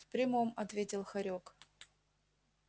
в прямом ответил хорёк